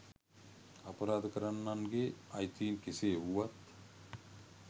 අපරාධ කරන්නන්ගේ අයිතීන් කෙසේ වුවත්